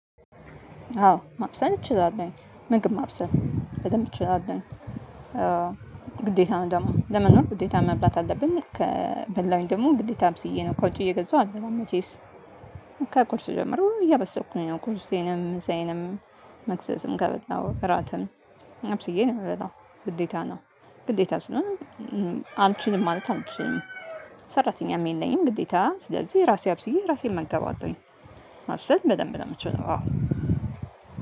አዎ ማብሰል እችላለሁ። ምግብ ማብሰል በደንብ እችላለሁ ግዴታ ነው ደማ ለመኖር ግዴታ መብላት አለብን ከበላሁ ደግሞ ግዴታ አብስዬ ነው ከዉጭ እየገዛሁ አልበላም መቼስ ጀምሮ እያበሰልኩ ነው ቁርሴንም ምሳዬንም መክሰስም ከበላሁ እራትም አብስዬ ነው የምበላው ግዴታ ነው ግዴታ ስለሆነ አልችልም ማለት አልችልም ሰራተኛም የለኝም ግዴታ ስለዚህ ራሴ አብስዬ ራሴን መንከባከብ አለብኝ ማብሰል በደንብ ነው የምትችለው አዎ